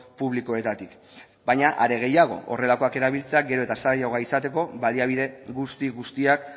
publikoetatik baina are gehiago horrelakoak erabiltzea gero eta zailagoa izateko baliabide guzti guztiak